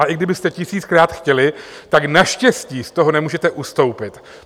A i kdybyste tisíckrát chtěli, tak naštěstí z toho nemůžete ustoupit.